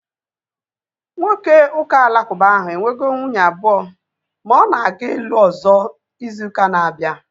Nwoke ụka alakuba ahu enwego nwunye abụọ ma ọ na-aga ịlụ ọzọ izu ụka na-abịa